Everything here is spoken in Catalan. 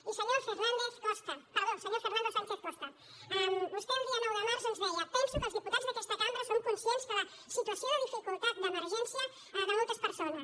i senyor fernández costa perdó senyor fernando sánchez costa vostè el dia nou de març ens deia penso que els diputats d’aquesta cambra som conscients de la situació de dificultat d’emergència de moltes persones